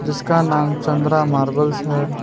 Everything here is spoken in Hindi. जिसका नाम चंद्रा मार्बल्स है।